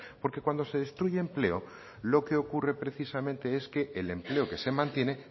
porque cuando se destruye empleo lo que ocurre precisamente es que el empleo que se mantiene